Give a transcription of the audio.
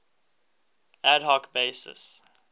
ad hoc basis